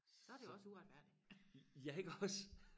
så er det jo også uretfærdigt